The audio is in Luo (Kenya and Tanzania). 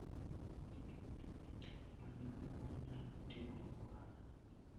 Many yore ma inyalo timogo ohala.